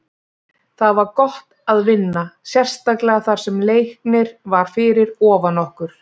Það var gott að vinna, sérstaklega þar sem Leiknir var fyrir ofan okkur.